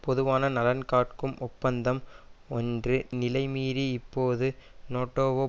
பொதுவான நலன் காக்கும் ஒப்பந்தம் ஒன்று நிலைமீறி இப்போது நோட்டோவோ